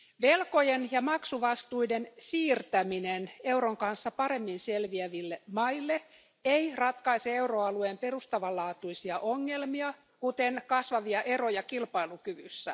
Velkojen ja maksuvastuiden siirtäminen euron kanssa paremmin selviäville maille ei ratkaise euroalueen perustavanlaatuisia ongelmia, kuten kasvavia eroja kilpailukyvyssä.